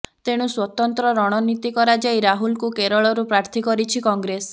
ତେଣୁ ସ୍ୱତନ୍ତ୍ର ରଣନୀତି କରାଯାଇ ରାହୁଲଙ୍କୁ କେରଳରୁ ପ୍ରାର୍ଥୀ କରିଛି କଂଗ୍ରେସ